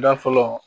Da fɔlɔ